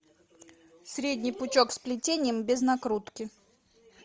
средний пучок с плетением без накрутки